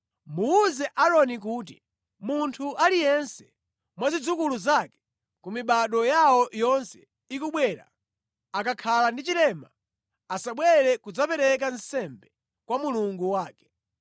“Muwuze Aaroni kuti, ‘Munthu aliyense mwa zidzukulu zake ku mibado yawo yonse ikubwera akakhala ndi chilema asabwere kudzapereka nsembe kwa Mulungu wake.